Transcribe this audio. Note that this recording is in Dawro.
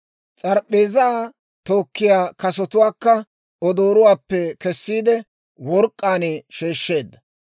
S'arap'p'eezaa tookkiyaa kasotuwaakka odooruwaappe kessiide, work'k'aan sheeshsheedda.